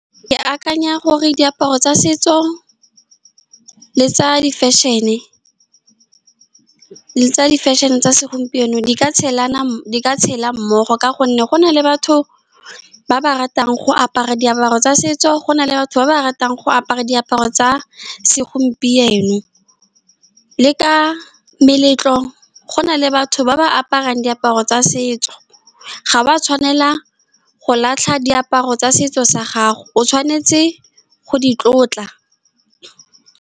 Ke akanya gore diaparo tsa setso le tsa di-fashion-e le tsa di-fashion-e tsa segompieno di ka tshelana, di ka tshela mmogo, ka gonne go na le batho ba ba ratang go apara diaparo tsa setso, go na le batho ba ba ratang go apara diaparo tsa segompieno, le ka meletlo go na le batho ba ba aparang diaparo tsa setso. Ga ba tshwanela go latlha diaparo tsa setso sa gago, o tshwanetse go di tlotla.